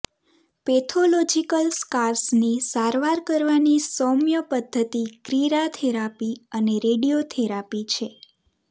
pathological સ્કાર્સની સારવાર કરવાની સૌમ્ય પદ્ધતિ ક્રિરાથેરાપી અને રેડિયોથેરાપી છે